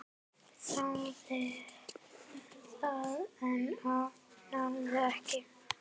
Þráði það, en náði ekki.